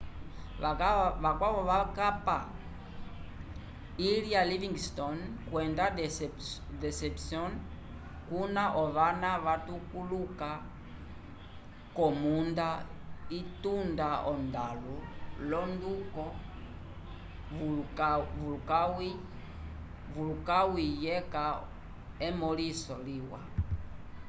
vakwavo vakapa ilha livingston kwenda deception kuna ovava vatuluka k'omunda itunda ondalu l'onduko vulkãwu yeca emõliso liwa